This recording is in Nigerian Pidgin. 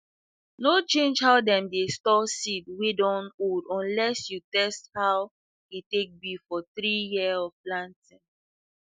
no change how dem dey store seed wey dun old unless you test aw e take be for three year of planting